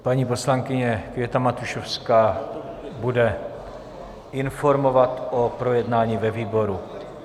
Paní poslankyně Květa Matušovská bude informovat o projednání ve výboru.